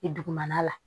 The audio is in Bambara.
I dugumana la